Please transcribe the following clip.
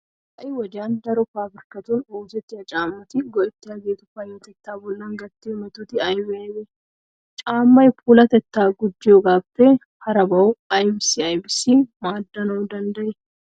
Ha"i wodiyan daro paabirkkatun oosettiya caammati go"ettiyageetu payyatettaa bollan gattiyo metoti aybee aybee? Caammay puulatettaa gujjiyogaappe harabaeu aybissi aybissi maaddanawu danddayii?